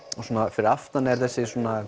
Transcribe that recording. fyrir aftan er þessi